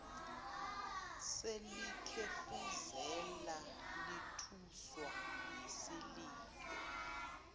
selikhefuzela lithuswa yisililo